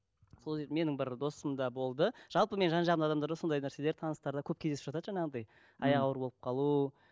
менің бір досымда болды жалпы менің жан жағымда адамдарда сондай нәрселер таныстарда көп кездесіп жатады жаңағыдай аяғы ауыр болып қалу